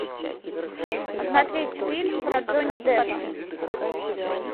смотреть фильм про джонни деппа